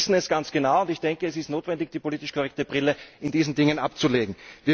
Sie wissen es ganz genau, und ich denke es ist notwendig, die politisch korrekte Brille in diesen Dingen abzulegen.